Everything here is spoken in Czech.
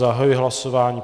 Zahajuji hlasování.